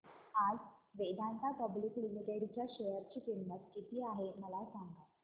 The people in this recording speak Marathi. आज वेदांता पब्लिक लिमिटेड च्या शेअर ची किंमत किती आहे मला सांगा